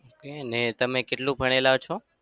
કઈ નઈ તમે કેટલું ભણેલા છો?